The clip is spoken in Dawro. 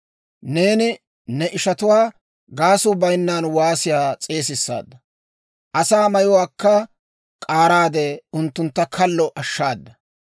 Neeni ne ishatuwaa gaasuu bayinnan waasiyaa s'eesissaadda; asaa mayuwaakka k'aaraade unttuntta kallo ashshaada.